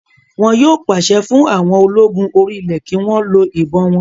Wọn yóò pàṣẹ fún àwọn ológun orí ilẹ̀ kí wọ́n lo ìbọn wọn